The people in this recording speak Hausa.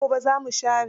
Sai gobe za mu share.